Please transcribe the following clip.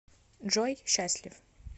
джой счастлив